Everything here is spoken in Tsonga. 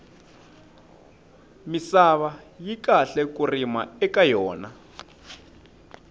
misava yi kahle ku rima eka yona